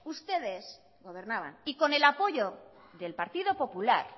ustedes gobernaban y con el apoyo del partido popular